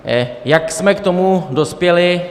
Jak jsme k tomu dospěli?